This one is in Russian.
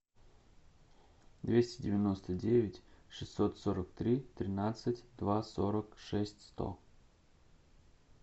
двести девяносто девять шестьсот сорок три тринадцать два сорок шесть сто